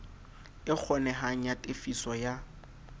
e kgonehang ya tefiso ya